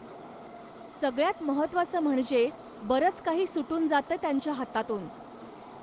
सगळ्यात महत्वाचं म्हणजे, बरंच काही सुटून जातंय त्यांच्या हातातून.